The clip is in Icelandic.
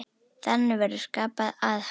Þannig verður skapað aðhald.